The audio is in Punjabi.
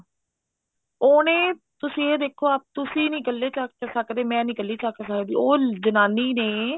ਉਹਨੇ ਤੁਸੀਂ ਇਹ ਦੇਖੋ ਤੁਸੀਂ ਨੀ ਕੱਲੇ ਚੱਕ ਸਕਦੇ ਮੈਂ ਨੀ ਕੱਲੀ ਚੱਕ ਸਕਦੀ ਉਹ ਜਨਾਨੀ ਨੇ